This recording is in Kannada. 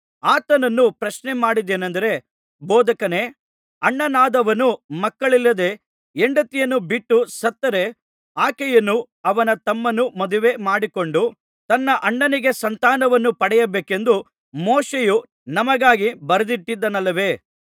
ಆತನನ್ನು ಪ್ರಶ್ನೆಮಾಡಿದ್ದೇನಂದರೆ ಬೋಧಕನೇ ಅಣ್ಣನಾದವನು ಮಕ್ಕಳಿಲ್ಲದೆ ಹೆಂಡತಿಯನ್ನು ಬಿಟ್ಟು ಸತ್ತರೆ ಆಕೆಯನ್ನು ಅವನ ತಮ್ಮನು ಮದುವೆ ಮಾಡಿಕೊಂಡು ತನ್ನ ಅಣ್ಣನಿಗೆ ಸಂತಾನವನ್ನು ಪಡೆಯಬೇಕೆಂದು ಮೋಶೆಯು ನಮಗಾಗಿ ಬರೆದಿಟ್ಟಿದ್ದಾನಲ್ಲವೇ